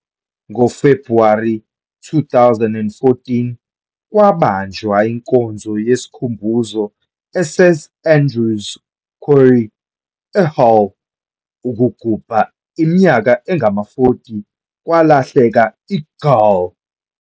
NgoFebhuwari 2014, kwabanjwa inkonzo yesikhumbuzo eSt Andrew's Quay, eHull, ukugubha iminyaka engama-40 kwalahleka "iGaul."